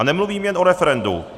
A nemluvím jen o referendu.